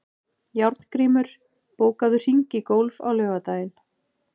Járngrímur, bókaðu hring í golf á laugardaginn.